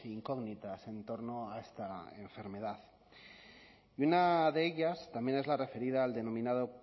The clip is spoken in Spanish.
incógnitas en torno a esta enfermedad y una de ellas también es la referida al denominado